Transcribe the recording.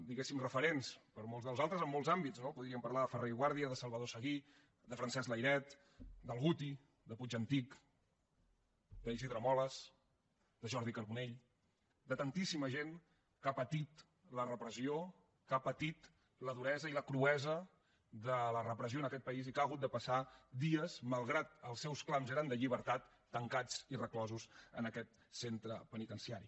diguéssim referents per a molts de nosaltres en molts àmbits no podríem parlar de ferrer i guàrdia de salvador seguí de francesc layret del guti de puig i antich d’isidre molas de jordi carbonell de tantíssima gent que ha patit la repressió que ha patit la duresa i la cruesa de la repressió en aquest país i que han hagut de passar dies malgrat que els seus clams eren de llibertat tancats i reclosos en aquest centre penitenciari